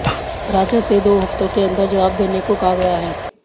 राजा से दो हफ्तों के अंदर जवाब देने को कहा गया है